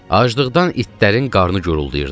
Acılıqdan itlərin qarnı guruldayırdı.